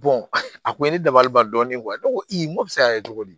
a kun ye ne dabali ban dɔɔni ne ko n ko bɛ se ka kɛ cogo di